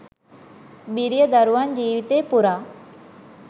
බිරිය, දරුවන් ජීවිතය පුරා